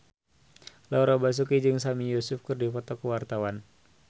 Laura Basuki jeung Sami Yusuf keur dipoto ku wartawan